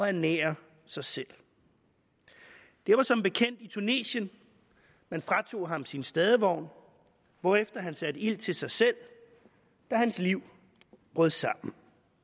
ernære sig selv det var som bekendt i tunesien man fratog ham sin stadevogn hvorefter han satte ild til sig selv da hans liv brød sammen